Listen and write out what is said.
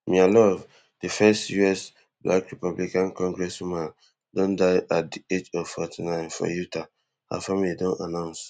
mia love di first us black republican congresswoman don die at di age of forty-nine for utah her family don announce